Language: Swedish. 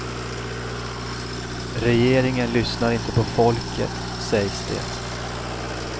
Regeringen lyssnar inte på folket, sägs det.